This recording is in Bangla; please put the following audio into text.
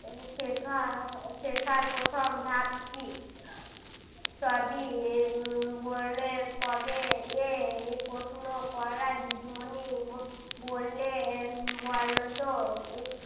শেখা~ শেখার প্রথম ধাপ কি সবই উম বললে কবে এ প্রশ্ন করা দিদিমণি বললেন বলো তো